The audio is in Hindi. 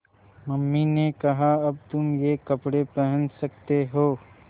मम्मी ने कहा अब तुम ये कपड़े पहन सकते हो